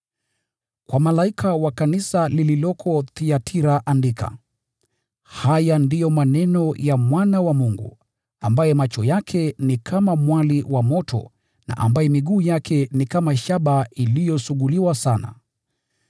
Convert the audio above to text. “Kwa malaika wa kanisa lililoko Thiatira andika: “Haya ndiyo maneno ya Mwana wa Mungu, ambaye macho yake ni kama mwali wa moto na ambaye miguu yake ni kama shaba iliyosuguliwa sana.